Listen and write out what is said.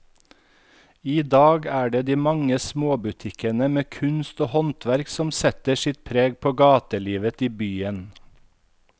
I dag er det de mange små butikkene med kunst og håndverk som setter sitt preg på gatelivet i byen.